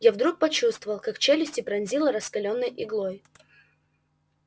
я вдруг почувствовал как челюсти пронзило раскалённой иглой